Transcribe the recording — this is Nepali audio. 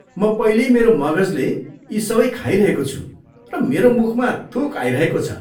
म पहिल्यै मेरो मगजले यी सबै खाइरहेको छु र मेरो मुखमा थुक आइरहेको छ।